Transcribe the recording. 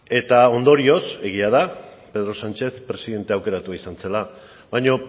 eta ondorioz egia da pedro sánchez presidente aukeratu izan zela baina